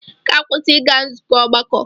Ị ga-akwụsị ịga nzukọ ọgbakọ!